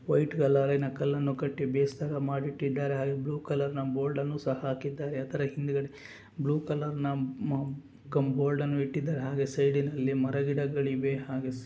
white ಕಲರಿನ ಕಲ್ಲನ್ನು ಕಟ್ಟಿ ಬೇಸ್ ಥರ ಮಾಡಿಟ್ಟಿದ್ದಾರೆ ಹಾಗು ಬ್ಲೂ ಕಲರ್ ಬೋರ್ಡ್ ಅನ್ನು ಸಹ ಹಾಕಿದ್ದಾರೆ ಅದರ ಹಿಂದಗಡೆ ಬ್ಲೂ ಕಲರ್ನ ಆ ಅಮ್ ಕಮ್ ಬೋರ್ಡ್ ಅನ್ನು ಇಟ್ಟಿದಾರೆ ಹಾಗೆ ಸೈಡಿನಲ್ಲಿ ಮರ ಗಿಡಗಳಿವೆ ಹಾಗೂ --